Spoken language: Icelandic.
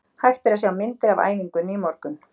Hægt er að sjá myndir af æfingunni í morgun.